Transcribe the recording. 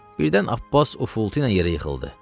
Birdən Abbas ufuldu ilə yerə yıxıldı.